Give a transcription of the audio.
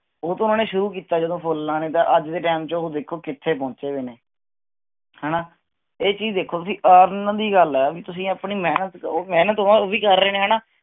ਉਹਦੋਂ ਉਨ੍ਹਾਂਨੇ ਸ਼ੁਰੂ ਕੀਤਾ ਜਦੋਂ ਫੁੱਲ ਲਾਉਣੇ ਤਾਂ ਅੱਜ ਦੇ ਟਾਈਮ ਚ ਉਹ ਦੇਖੋ ਕਿਥੇ ਪਹੁੰਚੇ ਹੋਏ ਨੇ ਹਣਾ ਇਹ ਚੀਜ ਦੇਖੋ ਤੁਸੀਂ earn ਦੀ ਗੱਲ ਹੈ ਤੁਸੀਂ ਆਪਣੀ ਮਿਹਨਤ ਦਵੋ ਮਿਹਨਤ ਤਾ ਉਹ ਵੀ ਕਰ ਰਹੇ ਨੇ ਹਣਾ